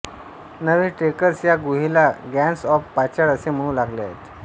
नवे ट्रेकर्स या गुहेला गन्स ऑफ पाचाड असे म्हणू लागले आहेत